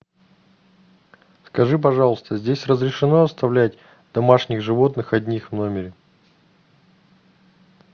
скажи пожалуйста здесь разрешено оставлять домашних животных одних в номере